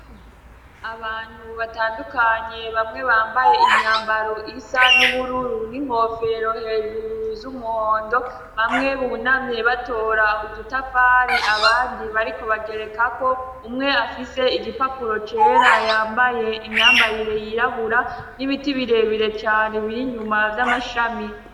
Abantu batandukanye bamwe bambaye imyambaro isa n'ubururu n'inkofero hejuru z'umuhondo, bamwe bunamye batora udutafari abandi bariko bagerekako, umwe afise igipapuro cera yambaye imyambarire yirabura n'ibiti birebire cane bir'inyuma z'amashami.